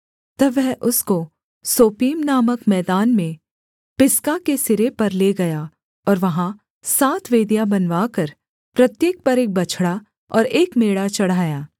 तब वह उसको सोपीम नामक मैदान में पिसगा के सिरे पर ले गया और वहाँ सात वेदियाँ बनवाकर प्रत्येक पर एक बछड़ा और एक मेढ़ा चढ़ाया